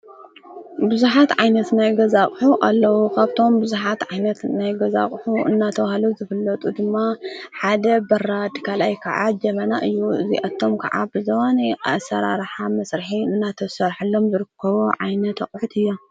ብዙሓት ዓይነት ናይገዛቕሑ ኣለዉ፣ ኻብቶም ብዙኃት ዓይነት ናይገዛቕሑ እናተውሃለ ዘፍለጡ ድማ ሓደ በራድ ካልኣይ ከዓ ጀመና እዩ እዚአቶም ከዓብ ዘዉነ ኣሠራርሓ መሥርሐ እናተሠርሕሎም ዘርክቦ ዓይነ ኣቕሑት እዮም።